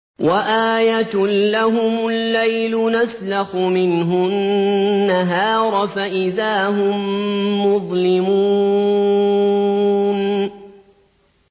وَآيَةٌ لَّهُمُ اللَّيْلُ نَسْلَخُ مِنْهُ النَّهَارَ فَإِذَا هُم مُّظْلِمُونَ